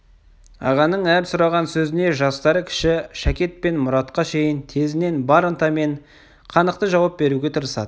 ағаның әр сұраған сөзіне жастары кіші шәкет пен мұратқа шейін тезінен бар ынтамен қанықты жауап беруге тырысады